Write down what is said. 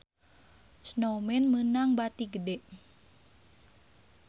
Snowman meunang bati gede